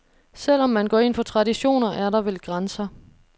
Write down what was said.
Selv om man går ind for traditioner, er der vel grænser.